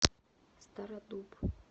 стародуб